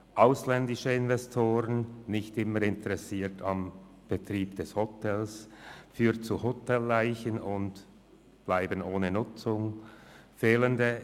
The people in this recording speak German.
ausländische Investoren sind nicht immer am Betrieb des Hotels interessiert, was zu Hotelleichen ohne Nutzung führt;